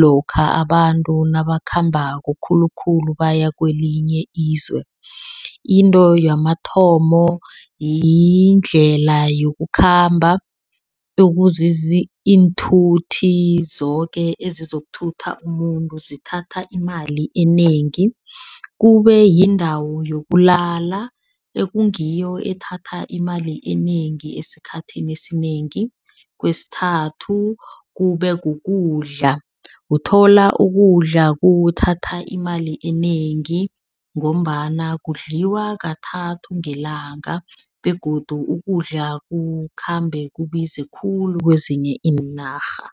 lokha abantu nabakhambako, khulukhulu baya kwelinye ilizwe. Into kwamathomo yindlela yokukhamba okuzizi iinthuthi zoke ezizokuthatha umuntu, zithatha imali enengi. Kube yindawo yokulala ekungiyo ethatha imali enengi esikhathini esinengi. Kwesithathu kube kukudla, uthola ukudla kuthatha imali enengi ngombana kudlaliwa kathathu ngelanga begodu ukudla kukhambe kubize khulu kwezinye iinarha.